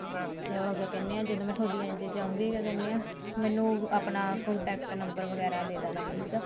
ਚਲੋ ਕਿਆ ਕਹਿਨੇ ਹਾਂ ਜਦੋਂ ਮੈਂ ਤੁਹਾਡੀ NGO ਚ ਆਉਂਗੀ ਕਿਆ ਕਹਿਨੇ ਆ ਮੈਨੂੰ ਆਪਣਾ contact number ਵਗੈਰਾ ਦੇ ਦੇਣਾ please